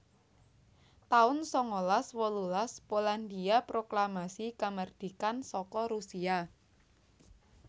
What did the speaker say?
taun sangalas wolulas Polandhia proklamasi kamardikan saka Rusia